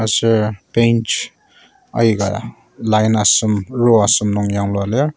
aser bench ayika line asem row asem nung yanglua lir.